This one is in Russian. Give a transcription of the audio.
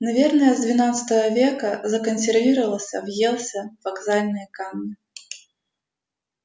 наверное с двенадцатого века законсервировался въелся в вокзальные камни